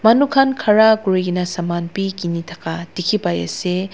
manu khan khara kuri kena saman bi khini thaka dikhi pai ase.